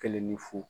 Kelen ni fu